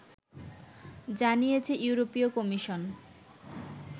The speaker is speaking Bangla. জানিয়েছে ইউরোপীয় কমিশন